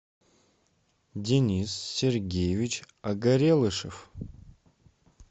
денис сергеевич огорелышев